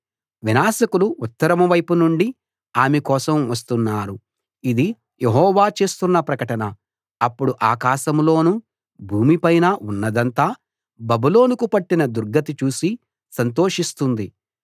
వినాశకులు ఉత్తరం వైపు నుండి ఆమె కోసం వస్తున్నారు ఇది యెహోవా చేస్తున్న ప్రకటన అప్పుడు ఆకాశంలోనూ భూమిపైనా ఉన్నదంతా బబులోనుకు పట్టిన దుర్గతి చూసి సంతోషిస్తుంది